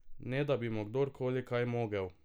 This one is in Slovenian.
Ne da bi mu kdorkoli kaj mogel.